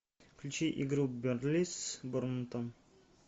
включи игру бернли с борнмутом